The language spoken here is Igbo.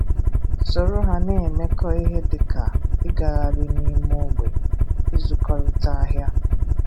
soro ha na-emekọ ihe dịka ịgagharị n'ime ogbe, ịzụkọrịta ahịa,